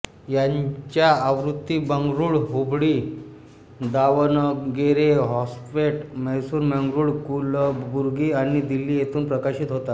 याच्या आवृत्ती बंगळूर हुबळी दावणगेरे होस्पेट मैसुरु मंगळूर कलबुर्गी आणि दिल्ली येथून प्रकाशित होतात